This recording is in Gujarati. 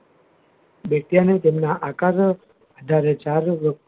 વૈજ્ઞાનિક તેના આકાર નો જયારે જાગૃત